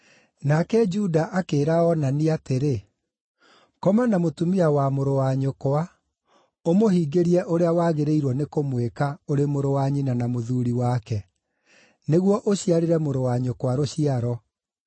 Nake Juda akĩĩra Onani atĩrĩ, “Koma na mũtumia wa mũrũ wa nyũkwa, ũmũhingĩrie ũrĩa wagĩrĩirwo nĩkũmwĩka ũrĩ mũrũ wa nyina na mũthuuri wake, nĩguo ũciarĩre mũrũ wa nyũkwa rũciaro.”